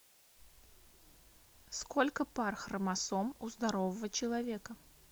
сколько пар хромосом у здорового человека